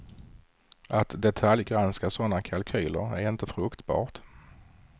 Att detaljgranska sådana kalkyler är inte fruktbart.